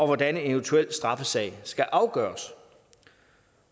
hvordan en eventuel straffesag skal afgøres